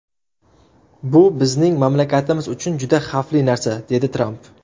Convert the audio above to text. Bu bizning mamlakatimiz uchun juda xavfli narsa”, dedi Tramp.